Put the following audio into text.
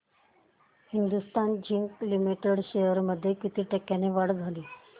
Hindustan zinc limited shares मध्ये किती टक्क्यांची वाढ झाली